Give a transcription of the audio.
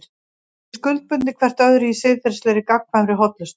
Þau eru skuldbundin hvert öðru í siðferðilegri, gagnkvæmri hollustu.